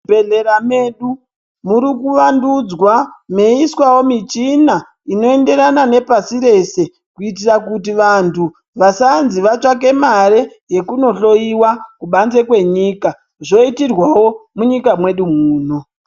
Muzvibhedhlera medu murikuvandudzwa meiiswavo michina inoenderana nepashi reshe. Kuitira kuti vantu vasanzi vatsvake mare yekunohloiwa kubanze kwenyika zvoitirwavo munyika mwedu muno.